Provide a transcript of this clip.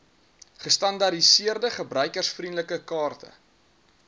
gestandaardiseerde gebruikervriendelike kaarte